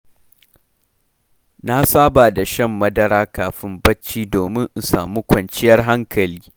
Na saba da shan madara kafin barci domin in samu kwanciyar hankali.